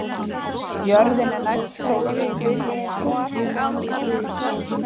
Foster hætt að leika